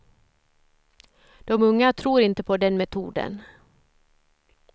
De unga tror inte på den metoden.